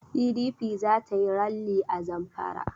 PDP za ta yi ralli a Zamfara.